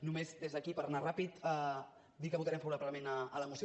només des d’aquí per anar ràpid dir que votarem favorablement a la moció